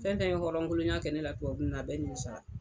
Fɛn on tɛn ye hɔrɔnya kolonya kɛ ne la tubabu ninnu na, a bɛ nimisala.